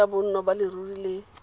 ya bonno ya leruri le